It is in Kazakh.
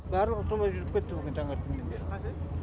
барлығы солай жүріп кетті бүгін таңертеңнен бері